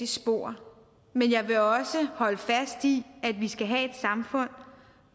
spor men jeg vil også holde fast i at vi skal have et samfund